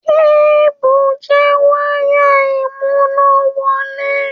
Kébù jẹ́ wáyà ìmúnáwọlé.